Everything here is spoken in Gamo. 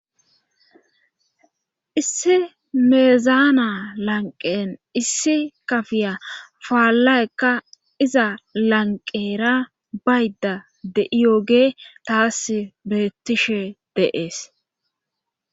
issi meezaana lanqen issi kafiya faallayekka iza lanqera bayda de7iyooge taas beettishe deees